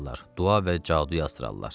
Dua və cadu yazdırarlar.